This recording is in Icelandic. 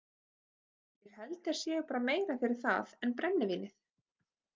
Ég held þeir séu meira fyrir það en brennivínið.